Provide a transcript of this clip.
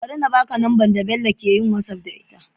Bari na baka number da Bello yake whatsapp da ita